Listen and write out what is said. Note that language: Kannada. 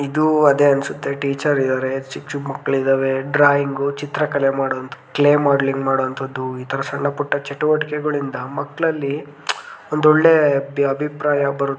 ಇದು ಅದೆ ಅನ್ನಸುತ್ತೆ ಟೀಚರ್ ಇದರೆ ಚಿಕ್ಕ ಚಿಕ್ಕ ಮಕ್ಕಳ ಇದವೆ ಡ್ರಾಯಿಂಗ್ ಚಿತ್ರ ಕಲೆ ಮಾಡುವಂತ್ತದ್ದು ಕ್ಲೇ ಮಾಡಲ್ಲಿಂಗ್ ಮಾಡುವಂತ್ತದ್ದುಈ ತರ ಸಣ್ಣಪುಟ್ಟ ಚಟುವಟಿಕೆಗಳಿಂದ ಮಕ್ಕಳಲ್ಲಿ ಒಂದು ಒಳ್ಳೆ ಅಭಿಪ್ರಾಯ ಬರುತ್ತೆ.